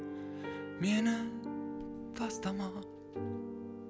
мені тастама